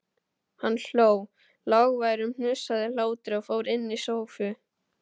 Hann hló, lágværum, hnussandi hlátri og fór inn í stofu.